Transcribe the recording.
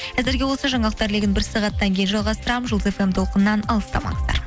әзірге осы жаңалықтар легін бір сағаттан кейін жалғастырамын жұлдыз фм толқынынан алыстамаңыздар